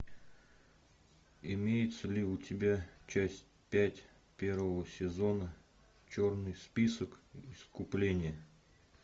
имеется ли у тебя часть пять первого сезона черный список искупление